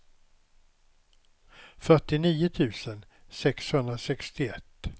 fyrtionio tusen sexhundrasextioett